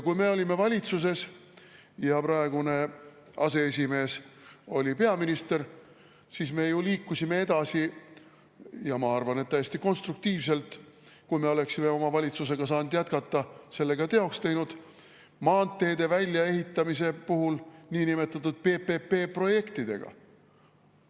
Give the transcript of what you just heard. Kui me olime valitsuses ja praegune aseesimees oli peaminister, siis me ju liikusime edasi – ja ma arvan, et täiesti konstruktiivselt, ja kui me oleksime oma valitsusega saanud jätkata, selle ka teoks teinud – maanteede väljaehitamisega niinimetatud PPP-projektide abil.